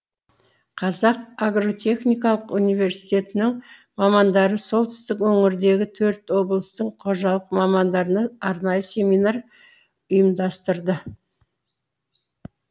қазақ агротехникалық университетінің мамандары солтүстік өңірдегі төрт облыстың қожалық мамандарына арнайы семинар ұйымдастырды